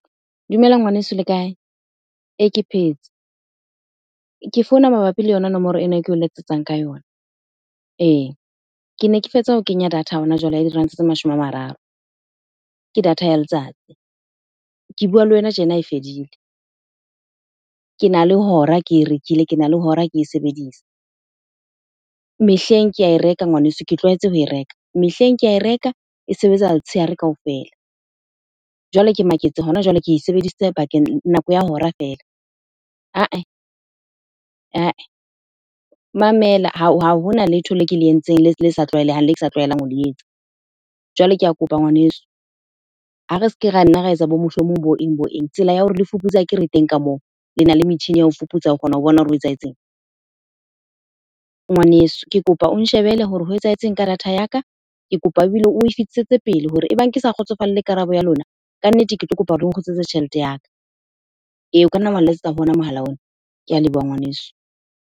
Dumela ngwaneso le kae? Ee, ke phetse. Ke founa mabapi le yona nomoro ena e ke o letsetsang ka yona. Ee, ke ne ke fetsa ho kenya data hona jwale ya diranta tse mashome a mararo, ke data ya letsatsi. Ke bua le wena tjena e fedile. Ke na le hora ke e rekile, kena le hora ke e sebedisa. Mehleng kea e reka ngwaneso, ke tlwaetse ho e reka. Mehleng ke a reka e sebetsa letshehare kaofela. Jwale ke maketse hona jwale ke e sebedisitse bakeng, nako ya hora feela. Mamela ha hona letho le ke le entseng le sa tlwaelehang le ke sa tlwaelang ho le etsa. Jwale ke a kopa ngwaneso, ha re ske ra nna ra etsa bo mohlomong, bo eng bo eng. Tsela ya hore le fuputse akere e teng ka moo, lena le metjhini ya ho fuputsa ho kgona ho bona hore ho etsahetseng. Ngwaneso, ke kopa o nshebele hore ho etsahetseng ka data ya ka. Ke kopa ebile oe fetisetse pele hore ebang ke sa kgotsofalle karabo ya lona, ka nnete ke tlo kopa le nkgutlisetse tjhelete ya ka. Eya, o kanna wa nletsetsa ho ona mohala ona. Ke a leboha ngwaneso.